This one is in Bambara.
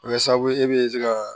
O bɛ kɛ sababu ye e bɛ se ka